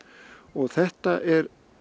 og þetta er